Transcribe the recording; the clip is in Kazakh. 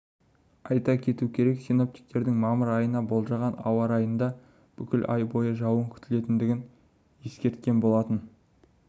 айта кету керек синоптиктердің мамыр айына болжаған ауа райында бүкіл ай бойы жауын күтілетіндігін ескерткен болатын